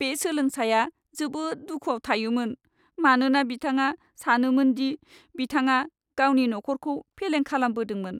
बे सोलोंसाया जोबोद दुखुआव थायोमोन, मानोना बिथाङा सानोमोन दि बिथाङा गावनि नखरखौ फेलें खालामदोंमोन।